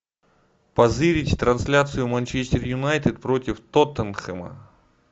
позырить трансляцию манчестер юнайтед против тоттенхэма